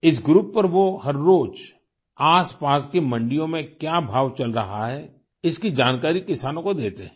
इस ग्रुप पर वो हर रोज़ आसपास की मंडियो में क्या भाव चल रहा है इसकी जानकारी किसानों को देते हैं